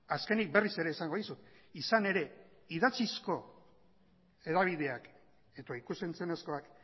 azkenik berriz ere esango dizut izan ere idatzizko hedabideak eta ikus entzunezkoak